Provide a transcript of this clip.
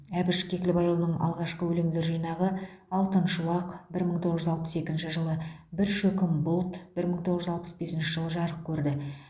әбіш кекілбайұлының алғашқы өлеңдер жинағы алтын шуақ бір мың тоғыз жүз алпыс екінші жылы бір шөкім бұлт бір мың тоғыз жүз алпыс бесінші жылы жарық көрді